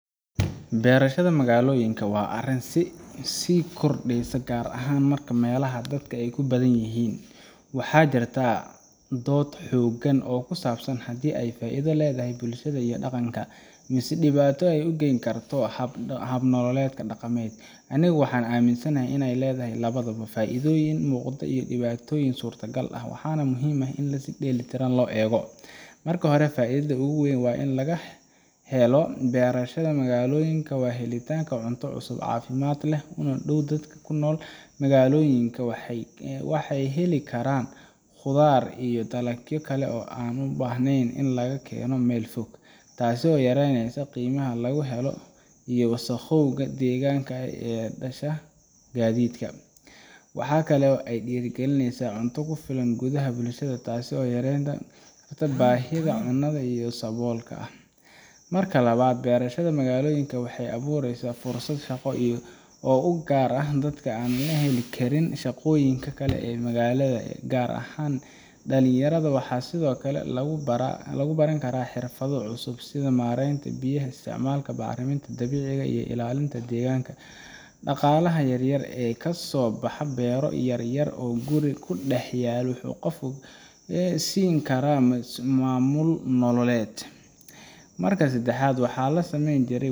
Beershada magaalooyinka waa arrin sii kordhaysa gaar ahaan meelaha dadka ku badan yihiin, waxaana jirta dood xoogan oo ku saabsan haddii ay faa’iido u leedahay bulshada iyo dhaqanka, mise ay dhibaato u gayn karto hab-nololeedkii dhaqameed. Anigu waxaan aaminsanahay in ay leedahay labadaba – faa’iidooyin muuqda iyo dhibaatooyin suurtagal ah, waxaana muhiim ah in si dheellitiran loo eego. Marka hore, faa’iidada ugu weyn ee laga helo beershada magaalooyinka waa helitaanka cunto cusub, caafimaad leh oo dhow. Dadka ku nool magaalooyinka waxay heli karaan khudaar iyo dalagyo kale oo aan u baahnayn in laga keeno meel fog, taasoo yareyneysa qiimaha lagu helo iyo wasakhowga deegaanka ee ka dhasha gaadiidka. Waxa kale oo ay dhiirrigelisaa cunto ku filan gudaha bulshada taasoo yareyn karta baahida cunnada ee saboolka ah. Marka labaad, beershada magaalooyinka waxay abuureysaa fursado shaqo oo u gaar ah dadka aan heli karin shaqooyinka kale ee magaalada, gaar ahaan dhalinyarada. Waxaa sidoo kale lagu baran karaa xirfado cusub sida maaraynta biyaha, isticmaalka bacriminta dabiiciga ah iyo ilaalinta deegaanka. Dhaqaalaha yaryar ee kasoo baxa beero yar yar oo guri ku dhex yaal wuxuu qofka siin karaa is-maamul nololeed. Marka saddexaad, waxaa la saameyn jiary